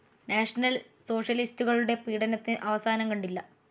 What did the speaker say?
National സോഷ്യലിസ്റ്റുകളുടെ പീഡനത്തിനു അവസാനം കണ്ടില്ല.